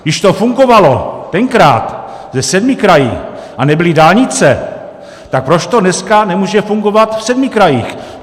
Když to fungovalo tenkrát se sedmi kraji a nebyly dálnice, tak proč to dneska nemůže fungovat v sedmi krajích?